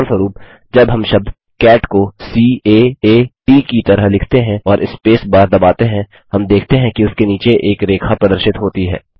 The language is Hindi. उदाहरणस्वरुप जब हम शब्द कैट को सी A आ T की तरह लिखते हैं और स्पेस बार दबाते हैं हम देखते हैं कि उसके नीचे एक रेखा प्रदर्शित होती है